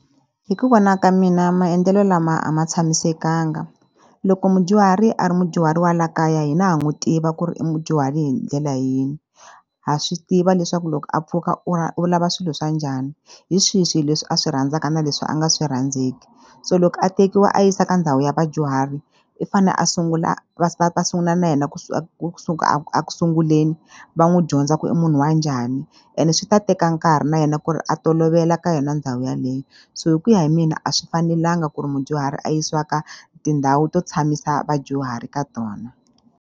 Hi ku vona ka mina maendlelo lama a ma tshamisekanga loko mudyuhari a ri mudyuhari wa la kaya hina ha n'wi tiva ku ri i mudyuhari hi ndlela yini ha swi tiva leswaku loko a pfuka u u lava swilo swa njhani hi swihi swi leswi a swi rhandzaka na leswi a nga swi rhandzeki so loko a tekiwa a yisa ka ndhawu ya vadyuhari i fane a sungula a sungula na yena ku ku sungula a ku sunguleni va n'wi dyondza ku i munhu wa njhani ene swi ta teka nkarhi na yena ku ri a tolovela ka yona ndhawu yaleyo so hi ku ya hi mina a swi fanelanga ku ri mudyuhari a yisiwa ka tindhawu to tshamisa vadyuhari ka tona.